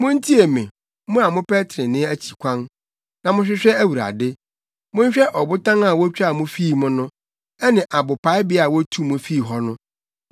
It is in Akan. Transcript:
“Muntie me, mo a mopɛ trenee akyi kwan; na mohwehwɛ Awurade; Monhwɛ ɔbotan a wotwaa mo fii mu no ne abopaebea a wotuu mo fii hɔ no;